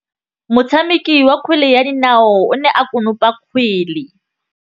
Motshameki wa kgwele ya dinaô o ne a konopa kgwele.